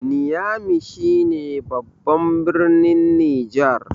niyami shi ne babban birnin Niger